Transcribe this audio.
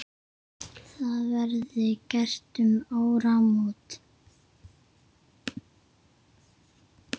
Það verði gert um áramót.